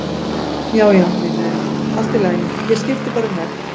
Já, já, vinurinn, allt í lagi, ég skipti bara um vegg.